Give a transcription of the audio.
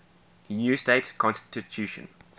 new state constitution